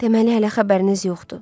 Deməli hələ xəbəriniz yoxdur.